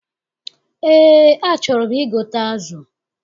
Eé, achọrọ m igote azụ.